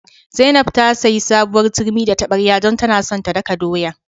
Zainab ta sayi sabuwar turmi da tabarya don tana son ta daka doya.